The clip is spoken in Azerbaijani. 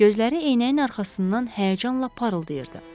Gözləri eynəyin arxasından həyəcanla parıldayırdı.